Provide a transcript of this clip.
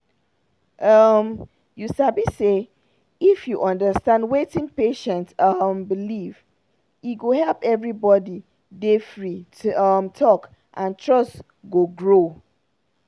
um you sabi say if you understand wetin patient um believe e go help everybody dey free to um talk and trust go grow.